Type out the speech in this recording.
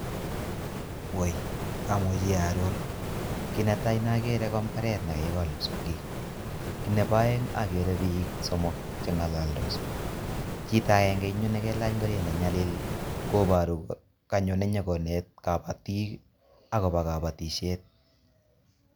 Amuchi aaror kit netai ne akere ko mbaret ne kakikol psongik kit nebo aeng akere biik somok chengalaldos chito akenge eng yu nekelach ngoriet ne nyalil kobaru kole kanyone nyikoneti kabatik akobo kabatisiet